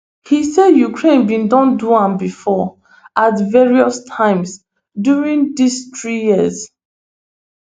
im say ukraine bin don do am before at various times during dis three years